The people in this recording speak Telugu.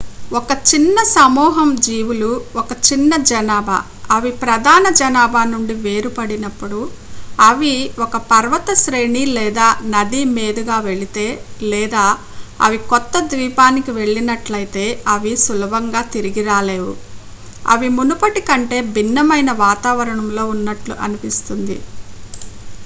ఒక చిన్న సమూహం జీవులు ఒక చిన్న జనాభా అవి ప్రధాన జనాభా నుండి వేరుపడినప్పుడు అవి ఒక పర్వత శ్రేణి లేదా నది మీదుగా వెళితే లేదా అవి కొత్త ద్వీపానికి వెళ్ళినట్లైతే అవి సులభంగా తిరగి రాలేవు అవి మునుపటి కంటే భిన్నమైన వాతావరణంలో ఉన్నట్లు అనిపిస్తుంది